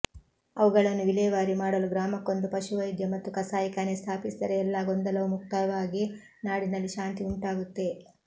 ಅವುಗಳನ್ನು ವಿಲೇವಾರಿ ಮಾಡಲು ಗ್ರಾಮಕ್ಕೊಂದು ಪಶು ವೈದ್ಯ ಮತ್ತು ಕಸಾಯಿಖಾನೆ ಸ್ಥಾಪಿಸಿದರೆ ಎಲ್ಲಾ ಗೊಂದಲವೂ ಮುಕ್ತಾಯವಾಗಿ ನಾಡಿನಲ್ಲಿ ಶಾಂತಿ ಉಂಟಾಗುತ್ತೆ